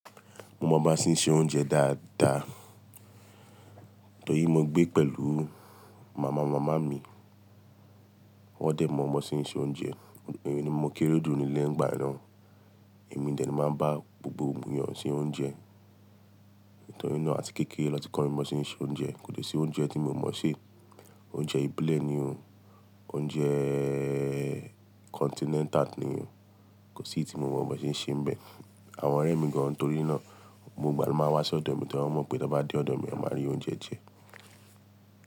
Mo mọ ba sé ń sè oúnjẹ dáa dáa. Nítorí mo gbé pẹ̀lú màmá màmá mi. Wọ́n dẹ̀ mọ ọmọ sí ń se oúnjẹ. Mo kéré jù nílẹ́ ngbà náà. Èmi ni dè tó máa ń bá gbogbo eniyàn sé oúnjẹ. Nítorí náà àti kékèré lọ́ tí kan mi mọ sí ń se oúnjẹ. Kò sí oúnjẹ tí mo mọ̀ ṣe. Oúnjẹ ibilẹ̀ ni o. Oúnjẹ kọ́ntinẹnta ni o. Kò sí tí mo mọ ba ṣe ń ṣe bẹ́ẹ̀. Àwọn ọ̀rẹ́ mi gan torí náà gbogbo ìgbà ló máa wá sí ọ̀dọ̀ mi torí wọ́n mọ̀ pé tí wọ́n bá dé ọ̀dọ̀ mi, wọ́n máa rí oúnjẹ jẹ.